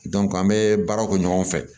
an bɛ baaraw kɛ ɲɔgɔn fɛ